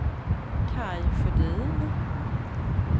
Kaj Sjödin